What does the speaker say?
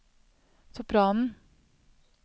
sopranen